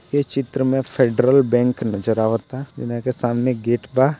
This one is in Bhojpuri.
ई चित्र मे फेडरल बैंक नजर आवता इनहा के सामने गेट बा।